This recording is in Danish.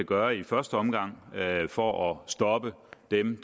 gøre i første omgang for at stoppe dem